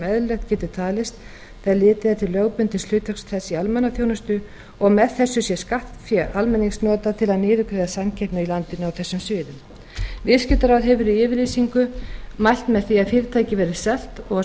eðlilegt getur talist þegar litið er til lögbundins hlutverks þess í almannaþjónustu og að með þessu sé skattfé almennings notað til að niðurgreiða samkeppni í landinu á þessum sviðum viðskiptaráð hefur í yfirlýsingu mælt með því að fyrirtækið verði selt og að